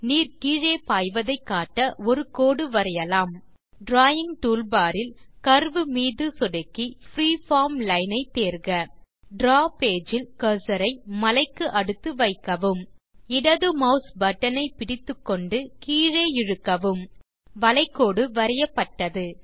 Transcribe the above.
நீர் கீழே பாய்வதை காட்ட ஒரு கோடு வரையலாம் டிராவிங் டூல்பார் இல் கர்வ் மீது சொடுக்கி பிரீஃபார்ம் லைன் ஐ தேர்க டிராவ் பேஜ் இல் கர்சர் ஐ மலைக்கு அடுத்து வைக்கவும் இடது மாஸ் பட்டன் ஐ பிடித்துக்கொண்டு கீழே இழுக்கவும் வளை கோடு வரையப்பட்டது